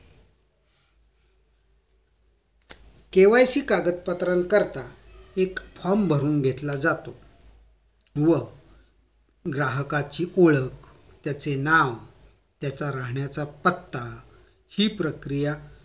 KYC कागद पत्रांकरिता एक Form भरून घेतला जातो व ग्राहकाचे ओळख त्याचे नाव त्याचा राहण्याचा पत्ता हि प्रक्रिया